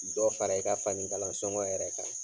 Dɔ fara i ka fanikalan sɔngɔ yɛrɛ kan